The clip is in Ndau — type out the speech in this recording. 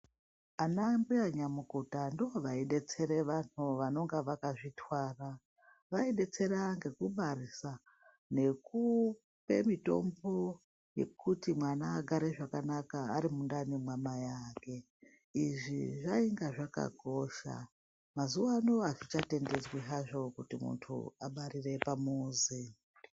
Anambuya nyamukuta ndovaidetsere vanhu vanonga vakazvitwara vaibetsera antu ngekubarisa , nekupe mitombo yekuti mwana agare zvakanaka arimundani mwamai Ake izvi zvainga zvakakosha mazuwano azvichatendedzwi hazvo kuti muntu abarire pamuzi.